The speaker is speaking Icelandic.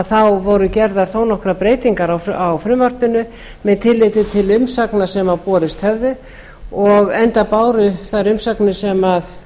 þá voru gerðar þó nokkrar breytingar á frumvarpinu með tilliti til umsagnar sem borist höfðu enda báru þær umsagnir sem